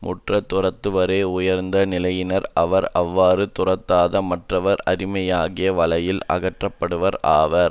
முற்றத் துறந்தவறே உயர்ந்த நிலையினர் ஆவர் அவ்வாறு துறக்காத மற்றவர் அறியாமையாகிய வலையில் அகப்பட்டவர் ஆவர்